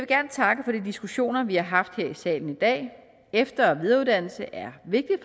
gerne takke for de diskussioner vi har haft her i salen i dag efter og videreuddannelse er vigtigt